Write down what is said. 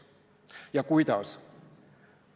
Kuidas?